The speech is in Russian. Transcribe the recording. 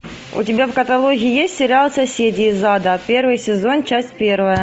у тебя в каталоге есть сериал соседи из ада первый сезон часть первая